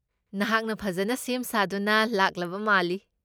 ꯅꯍꯥꯛꯅ ꯐꯖꯅ ꯁꯦꯝ ꯁꯥꯗꯨꯅ ꯂꯥꯛꯂꯕ ꯃꯥꯜꯂꯤ꯫